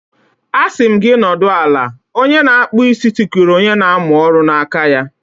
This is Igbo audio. A sị m gị nọdụ ala! Onye na-akpụ isi tikuru onye na-amụ ọrụ n'aka ya